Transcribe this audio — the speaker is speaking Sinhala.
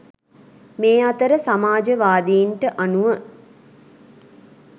මේ අතර සමාජවාදීන්ට අනුව